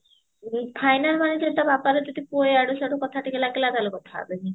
final ନାଇଁତ ବାପାର ଯଦି ପୁଅ ଇଆଡୁ ସିଆଡୁ କଥା ଟିକେ ଲାଗିଲା ତାହାଲେ କଥା ହେବେନି